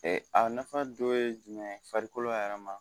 Ee a nafa dɔ ye jumɛn farikolo yɛrɛ ma